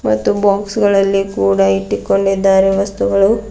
ಮತ್ತು ಬಾಕ್ಸ್ ಗಳಲ್ಲಿ ಕೂಡ ಇಟ್ಟಿಕೊಂಡಿದ್ದಾರೆ ವಸ್ತುಗಳು--